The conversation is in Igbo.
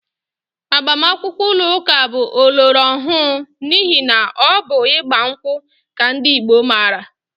Agbamakwụkwọ ụlọụka bụ ọlọrọọhụụ n'ihi na ọ bụ ịgba nkwụ ka ndị Igbo maara